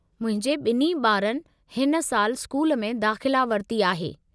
मुंहिंजे ॿिन्ही ॿारनि हिन सालु स्कूल में दाख़िला वरिती आहे।